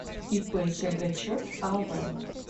ип сергачев ав